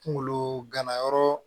Kunkolo ganayɔrɔ